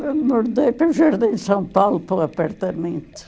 Mordei para o Jardim São Paulo, para o apartamento.